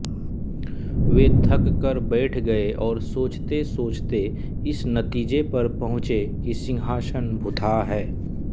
वे थककर बैठ गए और सोचतेसोचते इस नतीजे पर पहुँचे कि सिंहासन भुतहा है